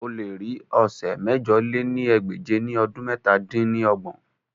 O le ri awọn ọsẹ mẹ̀jọ lé ní ẹgbẹ́je ni ọdun mẹ̀ta dín ní ọgbọ̀n